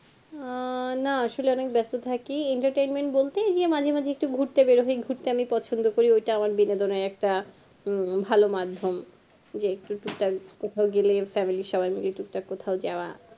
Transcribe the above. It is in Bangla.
আহ না আসলে অনেক ব্যাস্ত থাকি entertainment বলতে মাঝেমাঝে ঘুরতে বেরোই ঘুরতে আমি পছন্দ করি ওটা আমার বিনোদের একটা হম ভালো মাদ্ধমে যে একটু কোথাও গেলে family সব্বার যে টুকটাক কোথাও যাওয়া